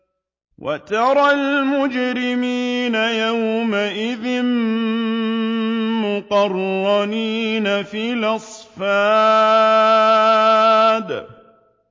وَتَرَى الْمُجْرِمِينَ يَوْمَئِذٍ مُّقَرَّنِينَ فِي الْأَصْفَادِ